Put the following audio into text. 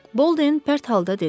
Bolden pərt halda dedi.